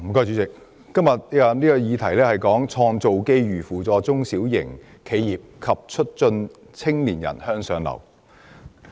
主席，今天的議題是"創造機遇扶助中小型企業及促進青年人向上流動"。